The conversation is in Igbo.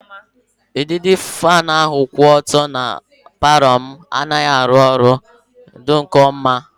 Udịri faanụ ahụ kwụ ọtọ dị na palọ m anaghị arụ ọrụ mbụ nke ọma